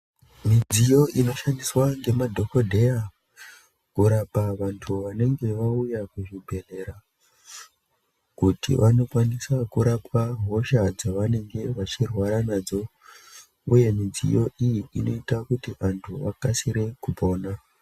Midziyo inoshandiswa ngemadhokodheya kurapa vantu vanenge vauya kuchibhedhlera, kuti vanokwanisa kurapwa hosha dzavanenge vachirwara nadzo uye midziyo iyi inoita kuti vantu vakasire kupona.